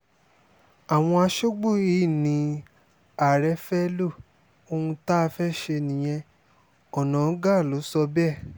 àwọn aṣọ́gbó yìí ní ààrẹ fẹ́ẹ́ lo ohun tá a fẹ́ẹ́ ṣe nìyẹn onáńgá ló sọ bẹ́ẹ̀